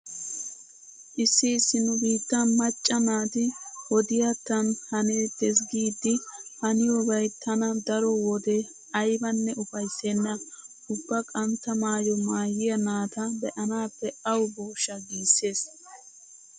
Issi issi nu biittan macca naati wodiyattan haneettes giidi haniyobay tana daro wode aybanne ufayssenna. Ubba qantta maayo maayiya naata be'naappe awu booshsha giissees.